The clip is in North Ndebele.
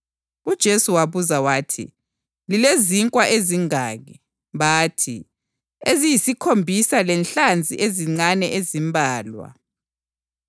UJesu wabuza wathi, “Lilezinkwa ezingaki?” Bathi, “Eziyisikhombisa lenhlanzi ezincane ezimbalwa.”